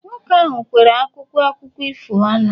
nwoke ahụ kwere akwụkwọ akụkọ ifo ọnụ